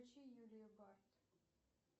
включи юлию барт